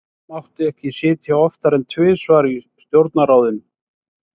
Þó mátti ekki sitja oftar en tvisvar í stjórnarráðinu.